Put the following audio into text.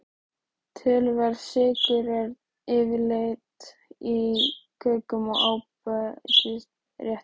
Töluverður sykur er yfirleitt í kökum og ábætisréttum.